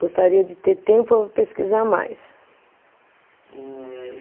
Gostaria de ter tempo para pesquisar mais. Ehh e